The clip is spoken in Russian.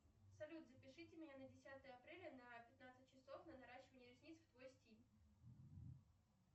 салют запишите меня на десятое апреля на пятнадцать часов на наращивание ресниц в твой стиль